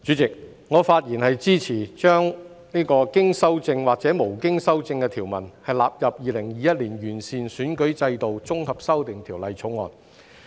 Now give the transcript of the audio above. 主席，我發言支持把經修正或無經修正的條文納入《2021年完善選舉制度條例草案》。